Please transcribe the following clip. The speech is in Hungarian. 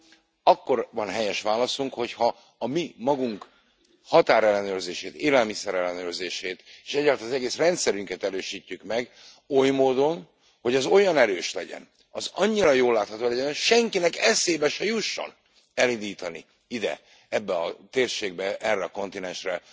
Magyarul, akkor van helyes válaszunk, hogyha a mi magunk határellenőrzését, élelmiszer ellenőrzését és egyáltalán az egész rendszerünket erősítjük meg, oly módon, hogy az olyan erős legyen, az annyira jól látható legyen, hogy senkinek eszébe se jusson elindítani ide, ebbe a térségbe, erre a kontinensre